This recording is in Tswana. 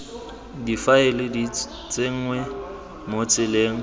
difaele di tsenngwa mo tseleng